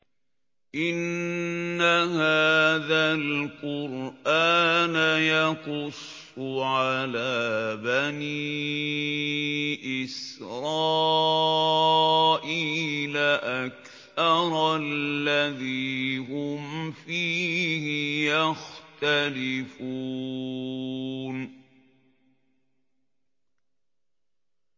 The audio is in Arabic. إِنَّ هَٰذَا الْقُرْآنَ يَقُصُّ عَلَىٰ بَنِي إِسْرَائِيلَ أَكْثَرَ الَّذِي هُمْ فِيهِ يَخْتَلِفُونَ